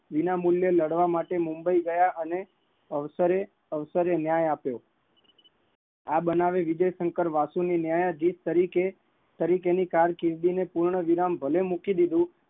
વિના મૂલ્ય લાડવા એ મુંબઈ ગયા અને અવસરે ન્યાય આપ્યો, આ બનાવી વિજયશંકર વાસુ એ ન્યાયધીશ તરીકે ની કારકિર્દી ને પૂર્ણવિરામ ભલે મૂકી દીધું